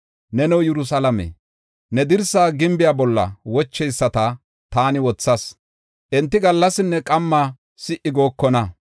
Neno Yerusalaame, ne dirsa gimbiya bolla wocheyisata taani wothas; enti gallasinne qamma si77i gookona.